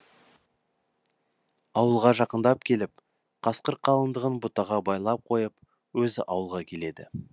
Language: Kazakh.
ауылға жақындап келіп қасқыр қалындығын бұтаға байлап қойып өзі ауылға келеді